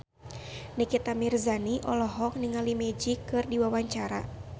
Nikita Mirzani olohok ningali Magic keur diwawancara